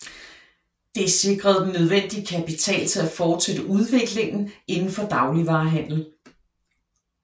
Det sikrede den nødvendige kapital til at fortsætte udviklingen inden for dagligvarehandel